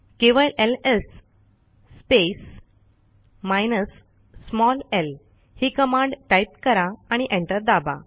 केवळ ls space minus l ही command type करा आणि एंटर दाबा